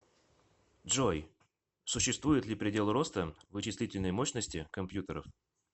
джой существует ли предел роста вычислительной мощности компьютеров